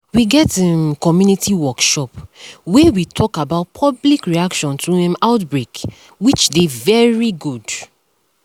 we get um community workshop wey we talk about public reaction to um outbreak um which dey very good